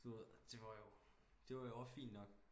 Du ved det var jo det var jo og fint nok